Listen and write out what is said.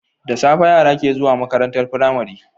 Da safe yara ke zuwa makarantar pramari